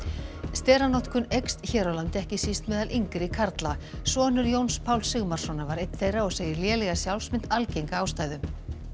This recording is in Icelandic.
steranotkun eykst hér á landi ekki síst meðal yngri karla sonur Jóns Páls Sigmarssonar var einn þeirra og segir lélega sjálfsmynd algenga ástæðu